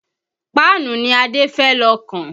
Páànù ni Adé fẹ́ lọ kàn